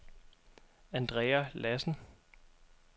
Andrea Lassen